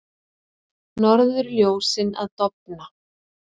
Norðurljósin að dofna